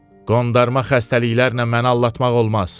Qondarma xəstəliklərlə məni aldatmaq olmaz.